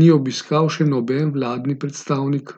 ni obiskal še noben vladni predstavnik.